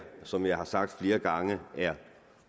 som jeg har sagt flere gange er